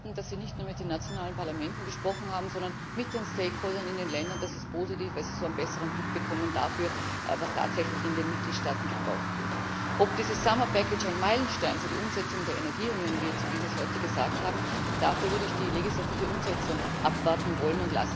Dass Sie nicht nur mit den nationalen Parlamenten gesprochen haben, sondern mit den in den Ländern, das ist positiv, weil Sie so einen besseren Blick bekommen dafür, was tatsächlich in den Mitgliedstaaten gebraucht wird. Ob dieses Sommerpaket ein Meilenstein für die Umsetzung der Energieunion wird, so wie Sie es heute gesagt haben, dafür würde ich die legislative Umsetzung abwarten wollen.